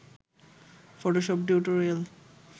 Photoshop tutorial